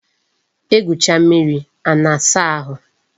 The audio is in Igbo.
E gwucha mmiri a na-asa ahụ